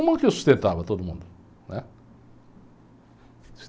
Uma que eu sustentava todo mundo. Né?